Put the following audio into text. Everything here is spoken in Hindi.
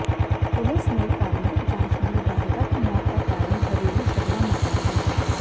पुलिस ने प्रारंभिक जांच में विवाहिता की मौत का कारण घरेलू झगड़ा माना है